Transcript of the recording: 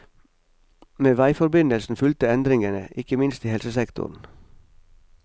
Med veiforbindelsen fulgte endringene, ikke minst i helsesektoren.